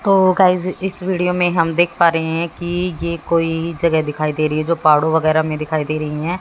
तो गाइस इस वीडियो मे हम देख पा रहे है कि ये कोई जगह दिखाई दे रही है जो पहाड़ो वगैरा मे दिखाई दे रही है।